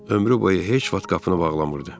Ömrü boyu heç vaxt qapını bağlamırdı.